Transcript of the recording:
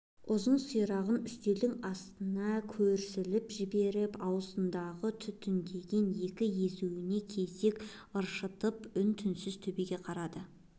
ұзын сирағын үстелдің астына көсіліп жіберіп аузындағы түтіндеген екі езуіне кезек ыршытып үн-түнсіз төбеге қадалады